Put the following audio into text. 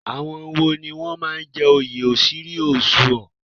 Àwọn wo ni wọ́n máa ń jẹ oyè Ochiri Ozuo?